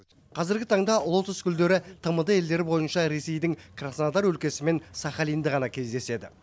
қазіргі таңда лотос гүлдері тмд елдері бойынша ресейдің краснодар өлкесі мен сахалинде ғана кездеседі